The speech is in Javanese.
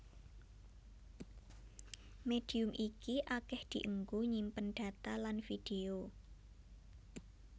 Médium iki akèh dienggo nyimpen data lan vidéo